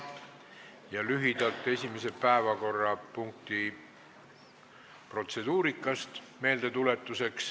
Tuletan lühidalt meelde esimese päevakorrapunkti protseduurika.